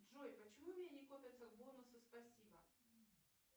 джой почему у меня не копятся бонусы спасибо